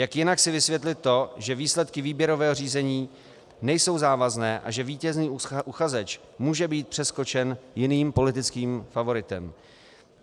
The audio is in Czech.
Jak jinak si vysvětlit to, že výsledky výběrového řízení nejsou závazné a že vítězný uchazeč může být přeskočen jiným politickým favoritem?